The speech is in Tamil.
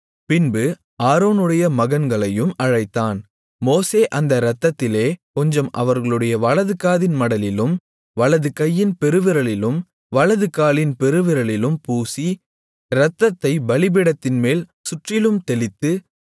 பின்பு ஆரோனுடைய மகன்களையும் அழைத்தான் மோசே அந்த இரத்தத்திலே கொஞ்சம் அவர்களுடைய வலதுகாதின் மடலிலும் வலதுகையின் பெருவிரலிலும் வலதுகாலின் பெருவிரலிலும் பூசி இரத்தத்தைப் பலிபீடத்தின்மேல் சுற்றிலும் தெளித்து